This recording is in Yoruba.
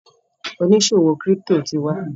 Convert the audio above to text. oniṣòwo crypto tí wá.